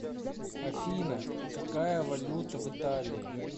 афина какая валюта в италии